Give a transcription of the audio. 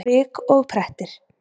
Svik og prettir!